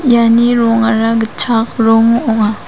iani rongara gitchak rong ong·a.